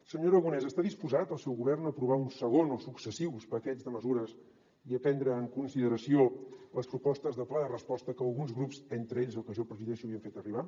senyor aragonès està disposat el seu govern a aprovar un segon o successius paquets de mesures i a prendre en consideració les propostes del pla de resposta que alguns grups entre ells el que jo presideixo li hem fet arribar